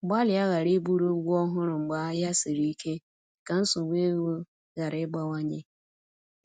Gbalịa ghara iburu ụgwọ ọhụrụ mgbe ahịa siri ike, ka nsogbu ego ghara ịgbawanye